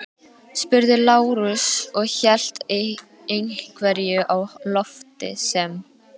spurði Lárus og hélt einhverju á lofti sem